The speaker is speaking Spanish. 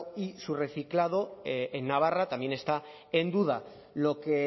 y su reciclado en navarra también está en duda lo que